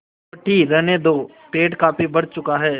रोटी रहने दो पेट काफी भर चुका है